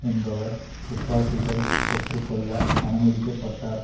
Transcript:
எப்படி துப்பாக்கிகள் பெற்று கொள்ள அனுமதிக்க பட்டார்